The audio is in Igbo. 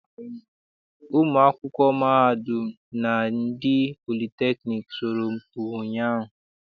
Ụmụ akwụkwọ mahadum na ndị politekniik sọrọmpi ụnyaahụ.